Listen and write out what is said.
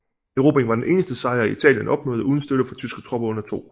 Erobringen var den eneste sejr Italien opnåede uden støtte fra tyske tropper under 2